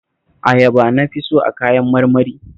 Ayaba na fi so a kayan marmari